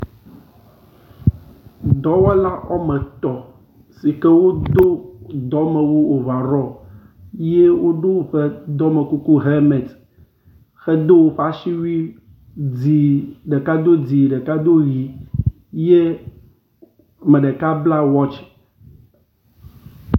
Dɔwɔla wɔme etɔ̃ si ke wodo dɔmewu ovarɔ ye wodo woƒe dɔmekuku hemet hedo woƒe aswui dzi. Ɖeka do dzi ɖeka do ʋi ye meɖeka bla watsi.